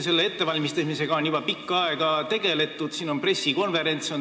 Selle ettevalmistamisega on juba pikka aega tegeldud.